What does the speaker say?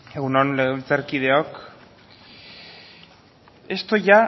egun on legebiltzarkideok esto ya